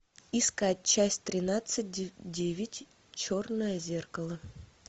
искать часть тринадцать девять черное зеркало